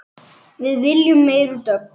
Við viljum meiri dögg!